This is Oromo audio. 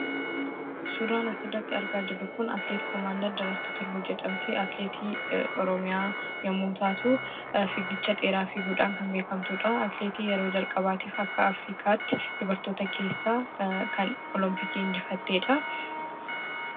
Suuraa asirratti argaa jirru kun suuraa atileet komaander Daraartu Tulluu jedhamti. atileetii oromiyaa yommuu taatuu, fiigicha dheeraa fiiguudhaan kan beekkamtudha. Atileetii yeroo jalqabaaf akka Afrikaatti dubartoota keessaa kan olompikii kan injifattedha.